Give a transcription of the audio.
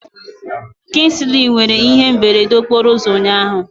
Kingsley nwere ihe mberede okporo ụzọ ụnyahụ.